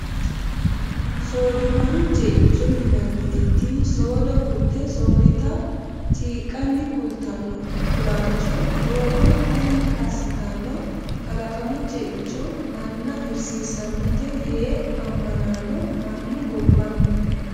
Soodimaru ceicho yinanniti tini soodo gute sooditta ciqanni kulteno kulancho doogo qummi assittano kalaqamu ceicho manna hirsiisanote yee amanano mannu gobbanihu.